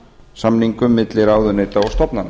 árangursstjórnunarsamningum milli ráðuneyta og stofnana